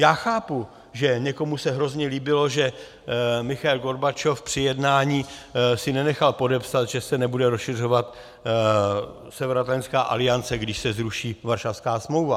Já chápu, že někomu se hrozně líbilo, že Michail Gorbačov při jednání si nenechal podepsat, že se nebude rozšiřovat Severoatlantická aliance, když se zruší Varšavská smlouva.